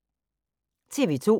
TV 2